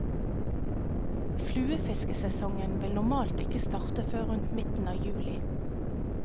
Fluefiskesesongen vil normalt ikke starte før rundt midten av juli.